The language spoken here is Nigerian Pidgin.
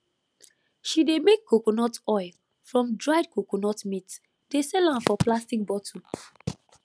she dey make coconut oil from dried coconut meat dey sell am for plastic bottle